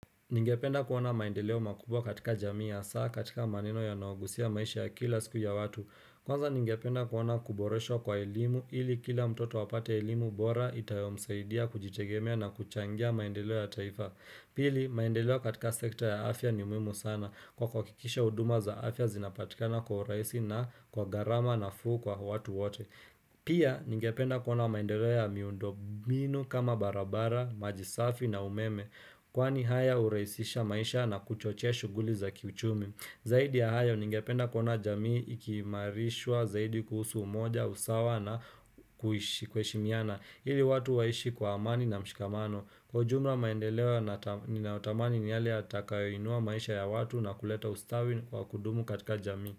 Ningependa kuona maendeleo makubwa katika jamiya, saa katika maneno ya naogusia maisha ya kila siku ya watu. Kwanza ningependa kuona kuboresho kwa elimu ili kila mtoto wapate elimu bora itayo msaidia kujitegemea na kuchangia maendeleo ya taifa. Pili, maendeleo katika sekta ya afya ni umuhimu sana kwa kukikisha uduma za afya zinapatikana kwa uraisi na kwa garama nafuu kwa watu wote. Pia, ningependa kuona maendeleo ya miundo mbinu kama barabara, majisafi na umeme. Kwani haya huraisisha maisha na kuchochea shuguli za kiuchumi Zaidi ya haya ningependa kuona jamii ikimarishwa zaidi kuhusu umoja, usawa na kuhishi kweshimiana Hili watu waishi kwa amani na mshikamano Kwa jumla maendelewa ninaotamani ni hali atakainua maisha ya watu na kuleta ustawi kwa kudumu katika jamii.